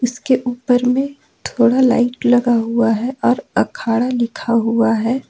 इसके ऊपर में थोड़ा लाइट लगा हुआ है और अखाड़ा लिखा हुआ है।